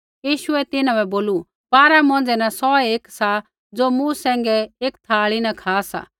यीशुऐ तिन्हां बै बोलू बारा मौंझ़ै न सौहै एक सा ज़ो मूँ सैंघै एकी थाल़ी न खा सा